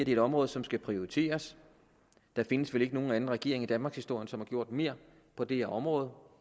et område som skal prioriteres der findes vel ikke nogen anden regering i danmarkshistorien som har gjort mere på det her område